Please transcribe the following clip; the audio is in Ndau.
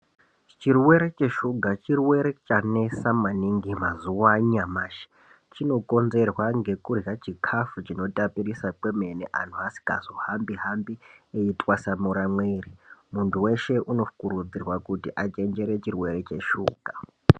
Chirwere cheshuga chirwere chanesa maningi mazuwa anyamashi, chinokonzerwa ngekurya chikhafu chinotapirisa kwemene, anthu asimazohambi-hambi eitwasamura mwiri, munthu weshe unokurudzirwa kuti achenjere chirwere cheshuga.